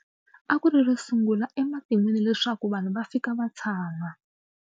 A ku ri ro sungula ematin'wini leswaku vanhu va fika va tshama.